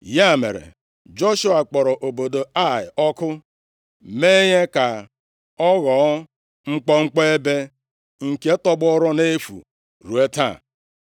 Ya mere, Joshua kpọrọ obodo Ai ọkụ, mee ya ka ọ ghọọ mkpọmkpọ ebe nke tọgbọrọ nʼefu ruo taa.